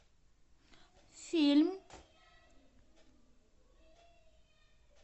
фильм